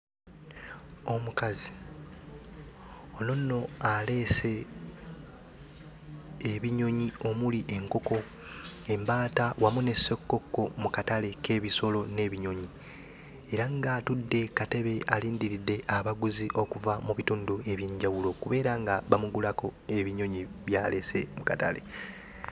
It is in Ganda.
Omukazi, ono nno aleese ebinyonyi omuli enkoko, embaata wamu ne ssekkokko mu katale k'ebisolo n'ebinyonyi era ng'atudde ku katebe alindiridde abaguzi okuva mu bitundu eby'enjawulo okubeera nga bamugulako ebinyonyi by'aleese mu katale.